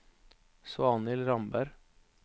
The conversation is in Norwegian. Svanhild Ramberg